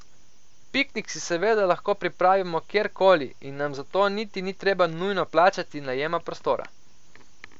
Piknik si seveda lahko pripravimo kjerkoli in nam za to niti ni treba nujno plačati najema prostora.